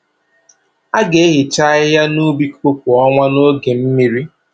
A ga-ehicha ahịhịa n’ubi kooko kwa ọnwa n’oge mmiri.